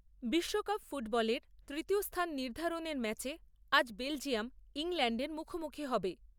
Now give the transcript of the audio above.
বিশ্বকাপ ফুটবলের তৃতীয় স্থান নির্ধারণের ম্যাচে আজ বেলজিয়াম ইংল্যাণ্ডের মুখোমুখি হবে।